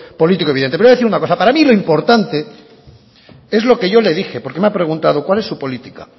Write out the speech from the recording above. político evidente le voy a decir una cosa para mí lo importante es lo que yo le dije porque me ha preguntado cuál es su política